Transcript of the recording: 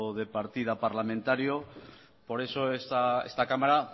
de partida parlamentario por eso esta cámara